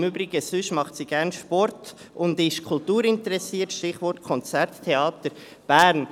Im Übrigen: Sonst macht sie gerne Sport und ist kulturinteressiert, Stichwort: Konzert Theater Bern.